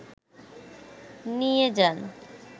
নিয়ে যান